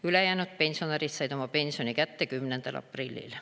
Ülejäänud pensionärid said oma pensioni kätte 10. aprillil.